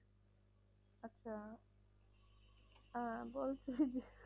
আচ্ছা আহ বলছিলাম